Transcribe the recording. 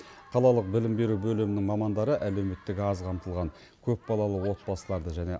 қалалық білім беру бөлімінің мамандары әлеуметтік аз қамтылған көпбалалы отбасыларды және